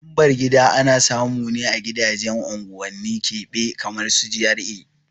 Lambar gida ana samune a gidajen unguwanni keɓe kamar su GRA